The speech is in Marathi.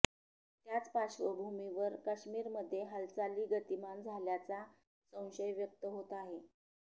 त्याच पार्श्वभूमीवर काश्मीरमध्ये हालचाली गतीमान झाल्याचा संशय व्यक्त होत आहे